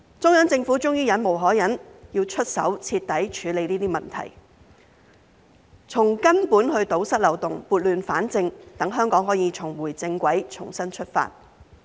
中央政府終於忍無可忍，出手徹底處理這些問題，從根本堵塞漏洞，撥亂反正，讓香港可以重回正軌，重新出發。